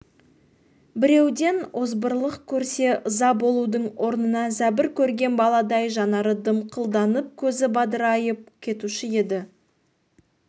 біреуден озбырлық көрсе ыза болудың орнына зәбір көрген баладай жанары дымқылданып көзі бадырайып кетуші еді